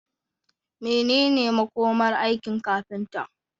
Menene makomar aikin kafinta?